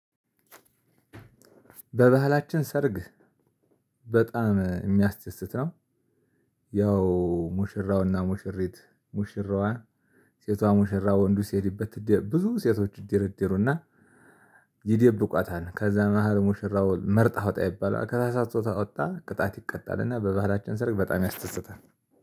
በባህላችን ሰርግ በጣም የሚያስደስት ነው ያው ሙሽራውና ሙሽሪት ሙሽራዋ ሴቷ ሙሽራ ወንዱ ሲሄድባት ብዙ ሴቶች ይደረደሩና ይደብቋታል ከዛ መሃል ሙሽራው መርጠህ አውጣ ይባላል ተሳስቶ ካወጣ ቅጣት ይቀጣልና በባህላችን ሰርግ በጣም ያስደስታል።